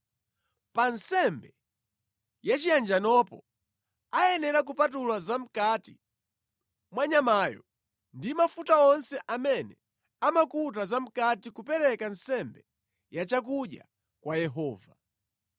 Pa nsembe yachiyanjanopo, ayenera kupatula zamʼkati mwa nyamayo ndi mafuta onse amene amakuta zamʼkati kupereka nsembe ya chakudya kwa Yehova.